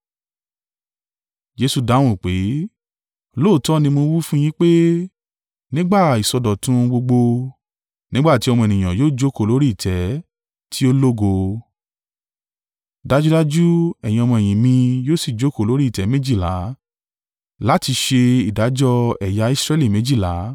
Jesu dáhùn pé, “Lóòótọ́ ni mo wí fún yín pé, ‘Nígbà ìsọdọ̀tun ohun gbogbo, nígbà tí Ọmọ Ènìyàn yóò jókòó lórí ìtẹ́ tí ó lógo, dájúdájú, ẹ̀yin ọmọ-ẹ̀yìn mi yóò sì jókòó lórí ìtẹ́ méjìlá láti ṣe ìdájọ́ ẹ̀yà Israẹli méjìlá.